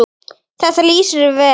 Þetta lýsir þér vel.